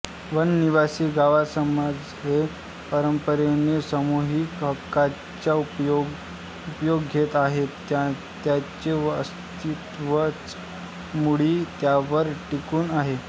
वननिवासी गावसमाज हे परंपरेने सामूहिक हक्कांचा उपभोग घेत आहेत त्यांचे अस्तित्वच मुळी त्यावर टिकून आहे